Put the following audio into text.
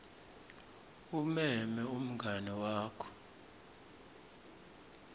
umeme umngani wakho